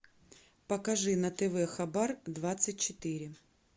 покажи на тв хабар двадцать четыре